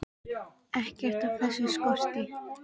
Ekkert af þessu skorti.